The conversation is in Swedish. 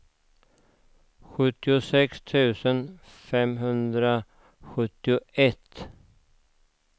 sjuttiosex tusen femhundrasjuttioett